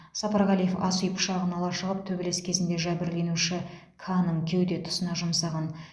сапарғалиев ас үй пышағын ала шығып төбелес кезінде жәбірленуші к ның кеуде тұсына жұмсаған